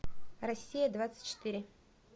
россия двадцать четыре